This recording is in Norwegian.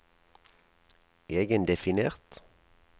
egendefinert